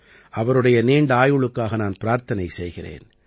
அவருடைய நீண்ட ஆயுளுக்காக நான் பிரார்த்தனை செய்கிறேன்